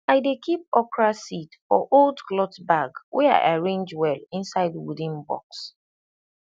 i dey keep okra seed for old cloth bag wey i arrange well inside wooden box